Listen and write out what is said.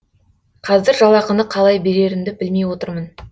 қазір жалақыны қалай берерімді білмей отырмын